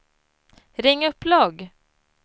ring upp logg